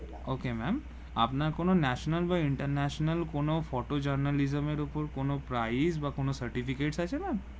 okay ma'am আপনার কোন National বা International বা কোন photo journalism এর উপর কোন price কোন সার্টিফিকেট আছে ma'am